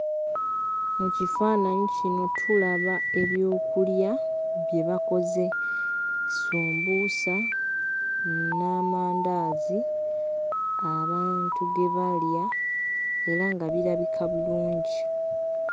Mu kifaananyi kino tulaba ebyokulya bye bakoze, sumbuusa n'amandaazi abantu ge balya era nga birabika bulungi.